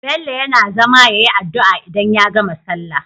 Bello yAna zama yayi adu'a idan ya gama sallah